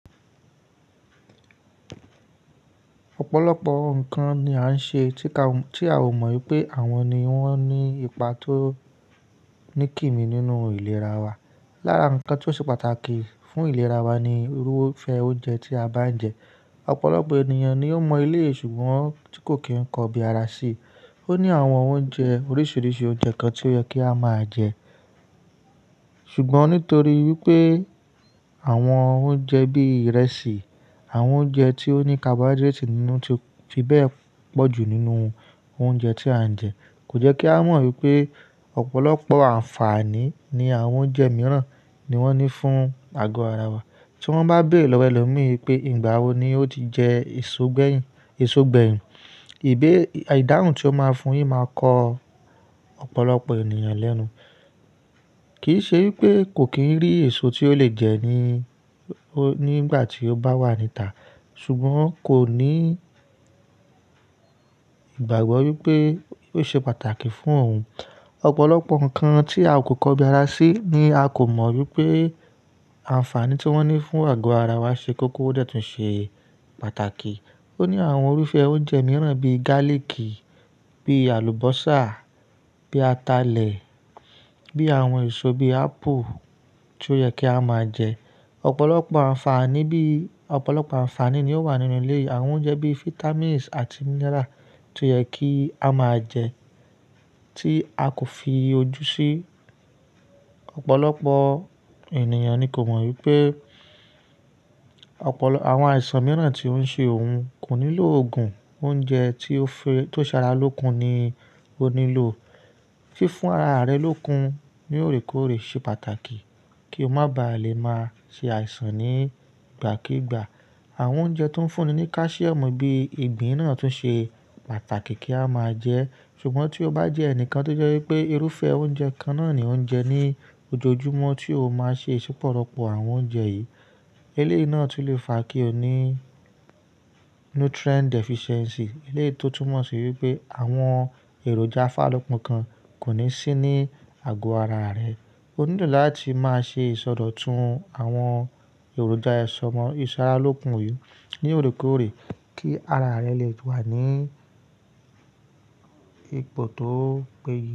Ọ̀pọ̀lọpọ̀ nǹkan ni a ń ṣe tí a ò mọ̀ wípé àwọn ni wón ní ipa tó ní kì mí nínú ìlera wa. Lára nǹkan tó ṣe pàtàkì fún ìlera wa ni irúfẹ́ oúnjẹ tí a bá ń jẹ. Ọ̀pọ̀lọpọ̀ ènìyàn ni ó mọ éléyìì, ṣùgbọ́n tí kò kí ń kọ bí ara ṣíí. Ó ní àwọn oúnjẹ oríṣiríṣi oúnjẹ kan tí ó yẹ kí a máa jẹ. Ṣùgbọ́n nítorí wípé àwọn oúnjẹ bí ìrẹsì, àwọn oúnjẹ tí ó ní carbohydrates nínú ti bẹ́ẹ̀ pọ̀ ju nínú oúnjẹ tí à ń jẹ. Kò jẹ́ kí a mọ̀ wípé ọ̀pọ̀lọpọ̀ àǹfààní ní àwọn oúnjẹ mìíràn ni wọ́n ní fún àgọ́ ara wa. Tí wọ́n bá béèrè lọ́wọ́ ẹlòmíì wípé ìgbà wo ni ó ti jẹ èso gbẹ́yìn, ìbẹ́ ìdáhùn tí ó máa fún yín máa kọ ọ̀pọ̀lọpọ̀ ènìyàn lẹ́nu. Kì í ṣe wípé kò kí ń rí èso tí ó le jẹ nígbà tí ó bá wà níta, ṣùgbọ́n kò ní ìgbàgbọ́ wípé ó ṣe pàtàkì fún òun. Ọ̀pọ̀lọpọ̀ nǹkan tí a kò kọ bí ara ṣíí ni a kò mọ̀ wípé àǹfààní tí wọ́n ní fún àgọ́ ara wa ṣe kó kó dẹ̀tún ṣe pàtàkì. Ó ní àwọn irúfẹ́ oúnjẹ mìíràn bí gálìkì, bí àlùbọ́sà, bí atalẹ̀, bí àwọn èso bí apple tí ó yẹ kí a máa jẹ. Ọ̀pọ̀lọpọ̀ àǹfààní ni ó wà nínú éleyíì àwọn oúnjẹ bí vitamins àti mineral tí ó yẹ kí a máa jẹ tí a kò fi ojú sìì sí. Ọ̀pọ̀lọpọ̀ ènìyàn ni kò mọ̀ wípé àwọn àìsàn mìíràn tí ó ń ṣe òun kò nílò òògùn, oúnjẹ tí ó ṣẹralókun ni ó nílò. Fífún ara rẹ lókun ní òrékọ̀ọ̀rẹ́ ṣe pàtàkì kí o má ba à lè máa ṣe àìsàn nígbàkígbà. Àwọn oúnjẹ tó ń fúnni ní calcium bí ìgbín náà tún ṣe pàtàkì kí a máa jẹ. Ṣùgbọ́n tí o bá jẹ ẹnìkan tó jẹ́ wípé irúfẹ́ oúnjẹ kan náà ni ò ń jẹ ní ojoojúmọ́ tí o máa ṣe isípọ̀ rọ́pọ̀ àwọn oúnjẹ yìí, eléyìí náà sì lè fa kí o ní nutrient deficiency. Eléyìí to túmọ̀ sí wípé àwọn èròjà afàrálokun kan kò ní sí ní àgọ́ ara rẹ. O nílò láti máa ṣe ìsọdọ̀tun àwọn èròjà èso mọ ìṣẹ́rarókun yìí ní òrékòọ̀rẹ́ kí ara rẹ lè wà ní ipò tó péye.